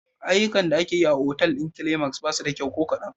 Ayyukan da ake yi a otal ɗin Climax ba su da kyau ko kadan.